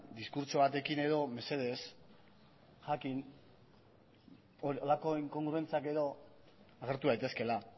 diskurtso batekin edo mesedez jakin horrelako inkongruentziak edo agertu daitezkeela